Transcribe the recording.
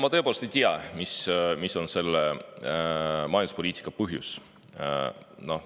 Ma tõepoolest ei tea, mis on selle majanduspoliitika põhjus.